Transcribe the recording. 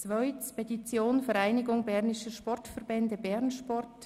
Zweitens: Petition der Vereinigung Bernischer Sportverbände (bernsport):